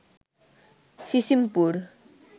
Sisimpur